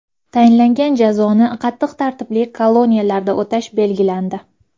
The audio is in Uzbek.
Tayinlangan jazoni qattiq tartibli koloniyalarda o‘tash belgilandi.